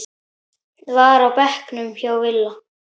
var á bekknum hjá Villa.